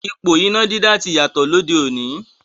Ipò iná dídá ti yàtọ̀ lóde òní.